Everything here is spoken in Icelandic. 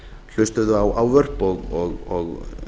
hlustuðu á ávörp og